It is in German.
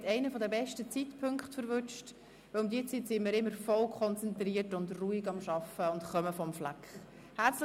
Sie haben einen der besten Zeitpunkte erwischt, weil wir um diese Zeit immer vollkonzentriert und ruhig am Arbeiten sind und vom Fleck kommen.